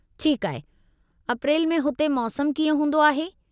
ठीकु आहे, अप्रैल में हुते मौसमु कीअं हूंदो आहे।